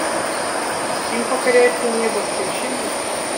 им покоряется небо включи мне